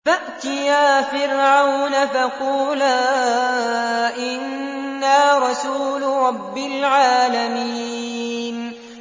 فَأْتِيَا فِرْعَوْنَ فَقُولَا إِنَّا رَسُولُ رَبِّ الْعَالَمِينَ